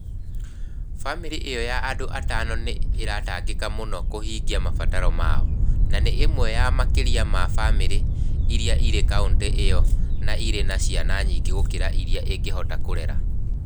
Bamirĩ ĩo ya andũ atano nĩ ĩratangĩka mũno kũhĩngia mabataro mao, na nĩ ĩmwe ya makiri ma bamirĩ iria irĩ kaũntĩ-inĩ ĩyo na irĩ na ciana nyingĩ gũkĩra irĩa ingĩhota kũrera.